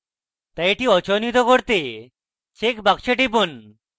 তাই এটি অচয়নিত করতে check box টিপুন